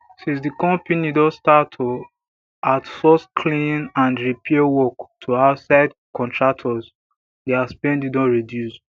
since di company don start to outsource cleaning and repair work to outside contractors dia spending don reduce